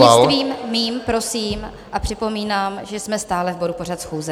Prostřednictvím mým, prosím, a připomínám, že jsme stále v bodu pořad schůze.